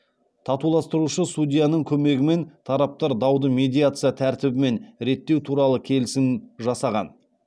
татуластырушы судьяның көмегімен тараптар дауды медиация тәртібімен реттеу туралы келісім жасаған